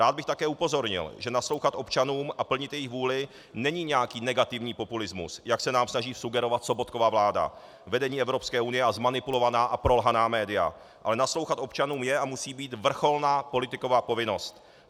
Rád bych také upozornil, že naslouchat občanům a plnit jejich vůli není nějaký negativní populismus, jak se nám snaží vsugerovat Sobotkova vláda, vedení Evropské unie a zmanipulovaná a prolhaná média, ale naslouchat občanům je a musí být vrcholná politikova povinnost.